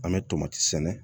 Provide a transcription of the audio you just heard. An bɛ tomati sɛnɛ